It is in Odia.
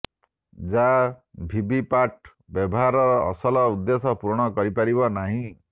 ଯାହା ଭିଭିପାଟ୍ ବ୍ୟବହାରର ଅସଲ ଉଦ୍ଦେଶ୍ୟ ପୁରଣ କରିପାରିବ ନାହିଁ